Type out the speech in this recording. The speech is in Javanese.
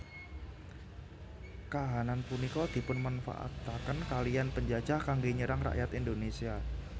Kahanan punika dipunmanfaataken kaliyan penjajah kanggé nyerang rakyat Indonésia